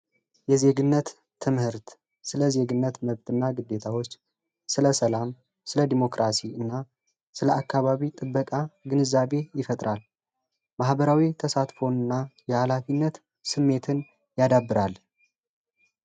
የዜግነት ትምህርት ስለ ዜግነት መብት እና ግዴታዎች ፣ስለ ሰላም ፣ስለ ዲሞክራሲ እና ስለ አካባቢ ጥበቃ ግንዛቤ ይፈጥራል። ማህበራዊ ተሳትፎ እና ሀላፊነትን ስሜትን ያዳብራል።